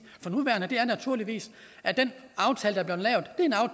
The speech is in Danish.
for nuværende det er naturligvis at den aftale